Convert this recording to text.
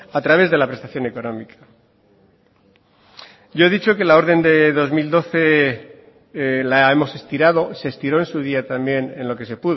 a través de la prestación económica yo he dicho que la orden de dos mil doce la hemos estirado se estiró en su día también en lo que se